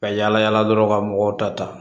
Ka yala yala dɔrɔn ka mɔgɔw ta ta